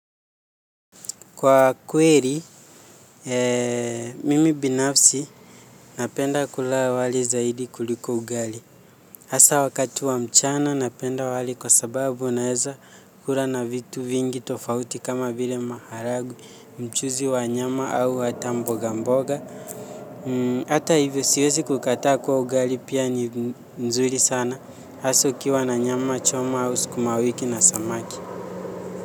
Kwa kweli mimi binafsi napenda kula wali zaidi kuliko ugali. Asa wakati wa mchana napenda wali kwa sababu naweza kula na vitu vingi tofauti kama vile maharagwe mchuzi wa nyama au hata mbogamboga. Hata hivyo siwezi kukataa kwa ugali pia ni nzuri sana. Hasa ukiwa na nyama, choma, au skuma wiki na samaki.